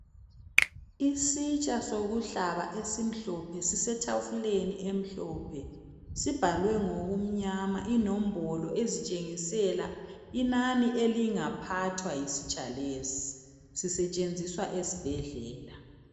Isitsha sokuhlaba esimhlophe sisetafuleni emhlophe sibhalwe ngikumnyama inombolo ezitshengisela inani elingaphathwa yisitsha lesi. Sisetshenziswa ezibhedlela.